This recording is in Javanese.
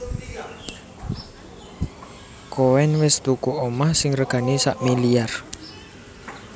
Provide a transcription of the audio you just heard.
Koen wes tuku omah sing regane sakmiliar